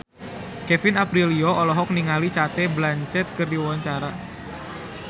Kevin Aprilio olohok ningali Cate Blanchett keur diwawancara